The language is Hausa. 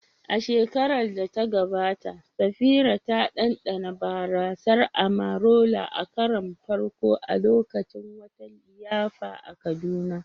A shekarar da ta gabata, Safira ta ɗanɗana barasar "Amarula" a karon farko a lokacin wata liyafa a Kaduna.